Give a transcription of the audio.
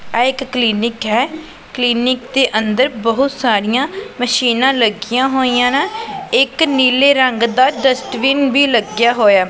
ਇਹ ਇੱਕ ਕਲੀਨਿਕ ਹੈ ਕਲੀਨਿਕ ਦੇ ਅੰਦਰ ਬਹੁਤ ਸਾਰੀਆਂ ਮਸ਼ੀਨਾਂ ਲੱਗੀਆਂ ਹੋਈਆਂ ਨੇਂ ਇੱਕ ਨੀਲੇ ਰੰਗ ਦਾ ਡਸਟਬਿਨ ਵੀ ਲੱਗਿਆ ਹੋਇਆ।